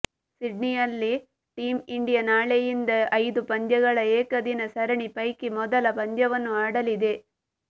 ಸಿಡ್ನಿಯಲ್ಲಿ team India ನಾಳೆಯಿಂದ ಐದು ಪಂದ್ಯಗಳ ಏಕದಿನ ಸರಣಿ ಪೈಕಿ ಮೊದಲ ಪಂದ್ಯವನ್ನು ಆಡಲಿದೆ